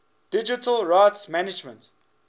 digital rights management